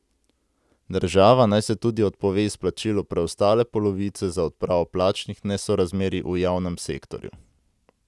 Država naj se tudi odpove izplačilu preostale polovice za odpravo plačnih nesorazmerij v javnem sektorju.